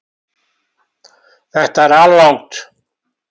Þetta er alrangt